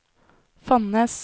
Fonnes